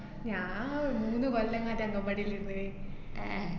ഞാന്‍ ങ്ങ് മുന്ന് കൊല്ലങ്ങാറ്റേന്നു അംഗന്‍വാടീലിര്ന്ന്. ഏർ